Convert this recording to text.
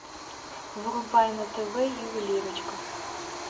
врубай на тв ювелирочка